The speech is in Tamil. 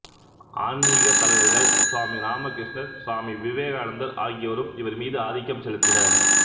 ஆன்மீகத் தலைவர்கள் சுவாமி இராமகிருஷ்ணர் சுவாமி விவேகானந்தர் ஆகியோரும் இவர் மீது ஆதிக்கம் செலுத்தினர்